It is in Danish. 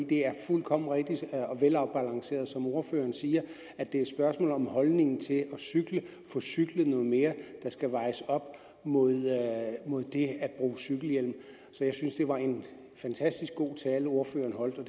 det er fuldkommen rigtigt og velafbalanceret som ordføreren siger at det er et spørgsmål om holdningen til at få cyklet noget mere der skal vejes op mod det at bruge cykelhjelm jeg synes det var en fantastisk god tale ordføreren holdt og